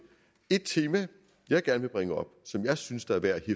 et tema jeg gerne vil bringe op og som jeg synes det er værd at